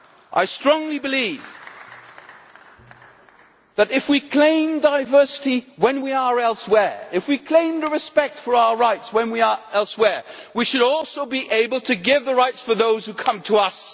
I strongly believe that if we claim diversity when we are elsewhere, and if we claim respect for our rights when we are elsewhere, we should also be able to give the same rights to those who come to us.